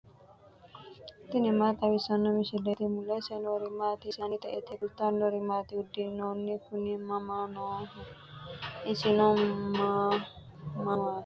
tini maa xawissanno misileeti ? mulese noori maati ? hiissinannite ise ? tini kultannori maati? Uduunnu Kuni mama nooho? isinno ma maati?